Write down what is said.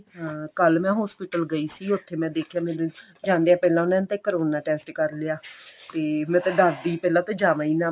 ਹਾਂ ਕੱਲ ਮੈਂ hospital ਗਈ ਸੀਗੀ ਉੱਥੇ ਮੈਂ ਦੇਖਿਆ ਮੈਨੂੰ ਜਾਂਦਿਆਂ ਪਹਿਲਾਂ ਉਹਨਾ ਨੇ ਤਾਂ ਕਰੋਨਾ test ਕਰ ਲਿਆ ਤੇ ਮੈਂ ਤਾਂ ਡਰ ਗਈ ਪਹਿਲਾਂ ਤਾਂ ਜਾਵਾਂ ਹੀ ਨਾ